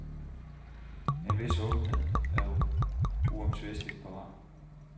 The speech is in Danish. En vis åbenhed er uomtvisteligt på vej.